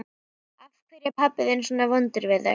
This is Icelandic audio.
Af hverju er pabbi þinn svona vondur við þig?